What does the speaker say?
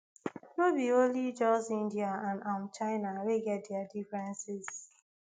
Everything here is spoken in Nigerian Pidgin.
no be only just india and um china wey get dia differences